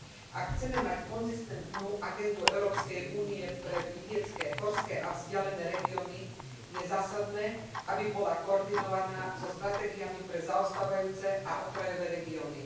Ak chceme mať konzistentnú agendu Európskej únie pre vidiecke, horské a vzdialené regióny, je zásadné, aby bola koordinovaná so stratégiami pre zaostávajúce a okrajové regióny.